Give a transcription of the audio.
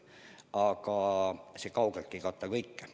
Aga see kaugeltki ei kata kõike.